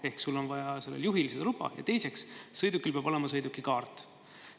Ehk juhil on vaja seda luba, ja teiseks, sõidukil peab olema sõidukikaart.